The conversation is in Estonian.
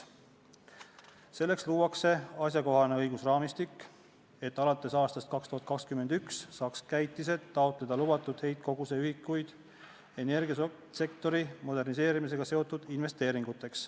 Selleks luuakse asjakohane õigusraamistik, et alates 2021. aastast saaks käitised taotleda lubatud heitkoguse ühikuid energiasektori moderniseerimisega seotud investeeringuteks.